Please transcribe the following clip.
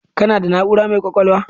Kana da na'ura mai kwakwalwa